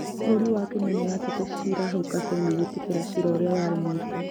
Bũrũri wa Kenya nĩũratete cira hau kabere na gwĩtĩkĩra gwĩtĩkĩra cira ũrĩa ũrarĩ mũritũ